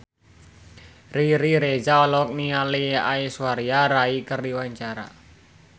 Riri Reza olohok ningali Aishwarya Rai keur diwawancara